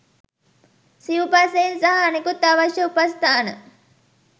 සිවුපසයෙන් සහ අනෙකුත් අවශ්‍ය උපස්ථාන